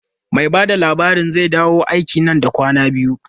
Mai ba da labarin zai dawo aiki nan da kwanaki biyu.